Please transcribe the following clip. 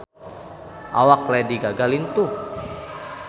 Awak Lady Gaga lintuh